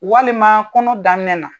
Walima kɔnɔ daminɛ na.